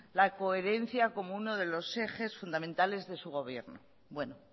la coherencia como uno de los ejes fundamentales de su gobierno bueno